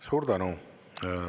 Suur tänu!